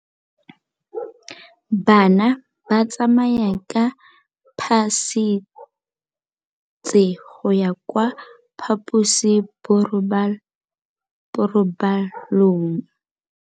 Bana ba tsamaya ka phašitshe go ya kwa phaposiborobalong.